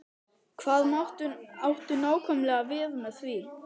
Hvað áttu nákvæmlega við með því?